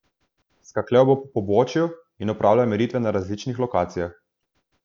Skakljal bo po površju in opravljal meritve na različnih lokacijah.